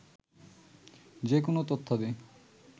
যেকোন তথ্যাদি